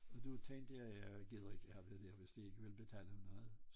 Og der tænkte jeg jeg gider ikke arbejde her hvis de ikke vil betale noget